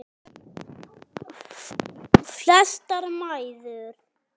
Flestar mæður.